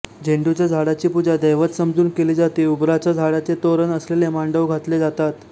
झेंडूच्या झाडाची पुजा दैवत समजून केली जाते उबराच्या झाडाचे तोरण असलेले मांडव घातले जातात